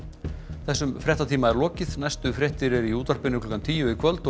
þessum fréttatíma er lokið næstu fréttir eru í útvarpinu klukkan tíu í kvöld og